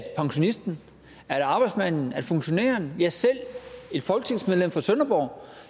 pensionisten at arbejdsmanden at funktionæren ja selv et folketingsmedlem fra sønderborg